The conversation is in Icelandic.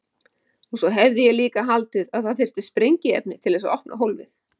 Og svo hefði ég líka haldið að það þyrfti sprengiefni til þess að opna hólfið.